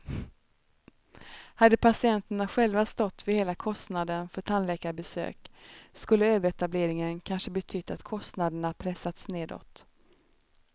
Hade patienterna själva stått för hela kostnaden för tandläkarbesök skulle överetableringen kanske betytt att kostnaderna pressats nedåt.